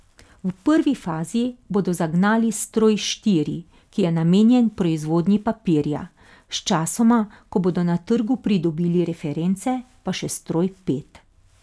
V prvi fazi bodo zagnali stroj štiri, ki je namenjen proizvodnji papirja, sčasoma, ko bodo na trgu pridobili reference, pa še stroj pet.